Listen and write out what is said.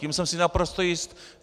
Tím jsem si naprosto jist.